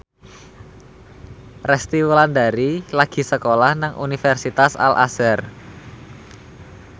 Resty Wulandari lagi sekolah nang Universitas Al Azhar